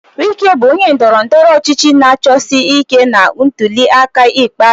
Wike bụ onye ndọrọ ndọrọ ọchịchị na-achọsi ike na ntuli aka ikpeazụ.